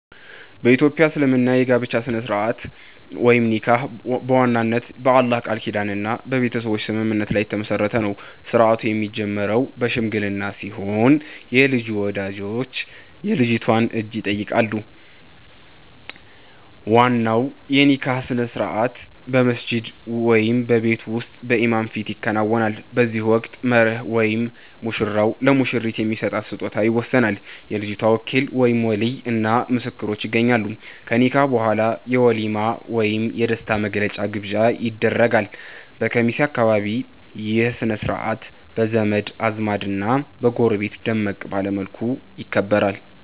በ ኢትዮጵያ እስልምና የጋብቻ ሥነ-ሥርዓት (ኒካህ) በዋናነት በአላህ ቃል ኪዳንና በቤተሰብ ስምምነት ላይ የተመሠረተ ነው። ሥርዓቱ የሚጀምረው በሽምግልና ሲሆን፣ የልጁ ወላጆች የልጅቷን እጅ ይጠይቃሉ። ዋናው የኒካህ ሥነ-ሥርዓት በመስጂድ ወይም በቤት ውስጥ በኢማም ፊት ይከናወናል። በዚህ ወቅት "መህር" (ሙሽራው ለሙሽሪት የሚሰጣት ስጦታ) ይወሰናል፤ የልጅቷ ወኪል (ወሊይ) እና ምስክሮችም ይገኛሉ። ከኒካህ በኋላ የ"ወሊማ" ወይም የደስታ መግለጫ ግብዣ ይደረጋል። በኬሚሴ አካባቢ ይህ ሥነ-ሥርዓት በዘመድ አዝማድና በጎረቤት ደመቅ ባለ መልኩ ይከበራል።